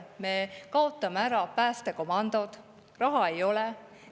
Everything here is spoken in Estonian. Me kaotame ära päästekomandod, sest raha ei ole.